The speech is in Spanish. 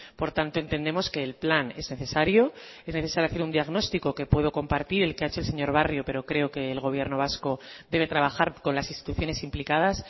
por tanto entendemos que el plan es necesario es necesario hacer un diagnóstico que puedo compartir el que ha hecho el señor barrio pero creo que el gobierno vasco debe trabajar con las instituciones implicadas